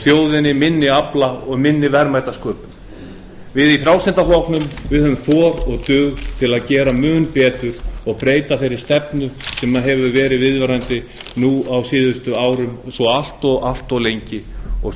þjóðinni minni afla og minni verðmætasköpun við í frjálslynda flokknum þor og dug til að gera mun betur og breyta þeirri stefnu sem hefur verið viðvarandi nú á síðustu árum svo allt of lengi og